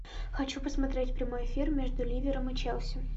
хочу посмотреть прямой эфир между ливером и челси